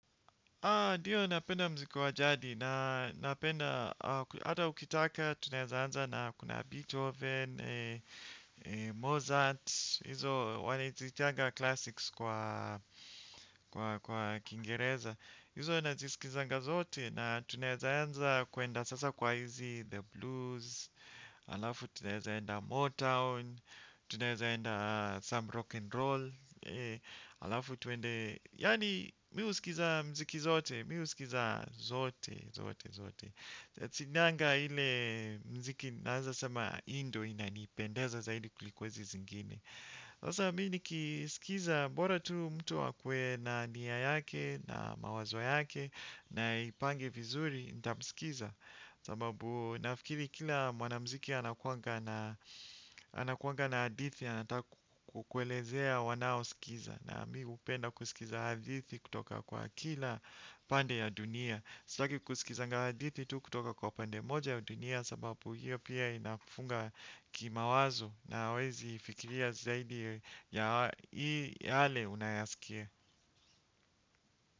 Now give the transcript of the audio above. Ndio napenda mziki wajadi na napenda, hata ukitaka, tunayazaanza na kuna Beethoven, Mozart, hizo wanazitaanga classics kwa Kiingereza, hizo wanazisikizanga zote na tunawezaanza kuenda sasa kwa hizi The Blues, alafu tunawezaenda Motown, tunawezaenda some rock and roll, alafu tuende, yaani mimi husikiza mziki zote, mimi husikiza zote, zote, zote. Sinanga ile muziki naweza sema hii nduo inanipendeza zaidi kuliko hizi zingine. Sasa mimi nikisikiza bora tu mtu akuwe na nia yake, na mawao yake na ipange vizuri nitamsikiza sababu nafikiri kila mwanamuziki anakuanga anakuanga na hadithi anataka kukuelezea wanaosikizam. Na mimi hupenda kusikiza hadithi kutoka kwa kila pande ya dunia. Sitaki kusikiza hadithi tu kutoka kwa pande moja ya dunia sababu hiyo pia inafunga kimawazo na huwezi fikiria zaidi ya yale unayaskia.